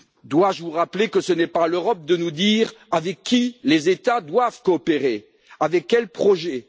Dois je vous rappeler que ce n'est pas à l'Europe de nous dire avec qui les États doivent coopérer, avec quels projets?